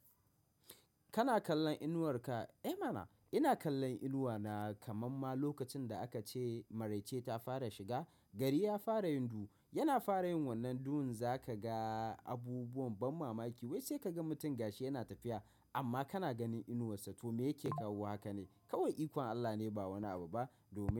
Kana kallon inuwar ka? Eh mana ina kallon inuwa na kaman ma lokacin da aka ce maraice ta fara shiga gari ya fara yin duhu yana fara yin wannan duhun zaka ga abubuwan ban mamaki wai sai ka ga mutum gashi yana tafiya amma kana ganin inuwarsa to me yake kawo haka ne? Kawai ikon Allah ne ba wani abu ba domin.